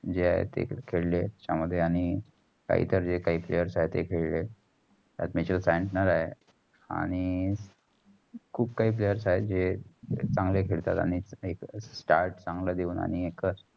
जेय आहे ते cricket खेळे. त्याचा मध्ये आणि आणि खूप खाही players जे चांगले खेळलात. आणि एक start चांगल देऊन.